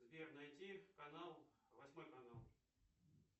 сбер найти канал восьмой канал